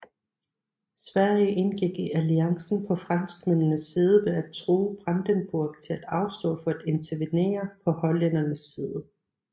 Sverige indgik i alliancen på franskmændenes side ved at true Brandenburg til at afstå for at intervenerer på hollændernes side